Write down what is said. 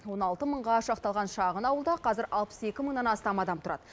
он алты мыңға шақталған шағын ауылда қазір алпыс екі мыңнан астам адам тұрады